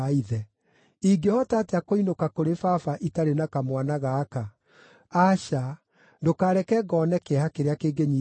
Ingĩhota atĩa kũinũka kũrĩ baba itarĩ na kamwana gaka? Aca! Ndũkareke ngoone kĩeha kĩrĩa kĩngĩnyiita baba.”